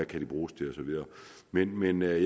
kan bruges til og så videre men men jeg